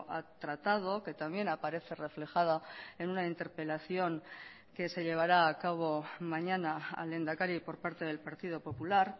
ha tratado que también aparece reflejada en una interpelación que se llevará a cabo mañana al lehendakari por parte del partido popular